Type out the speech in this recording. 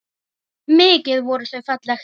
Mikið voru þau fallegt par.